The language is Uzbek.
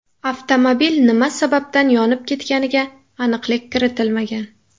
Avtomobil nima sababdan yonib ketganiga aniqlik kiritilmagan.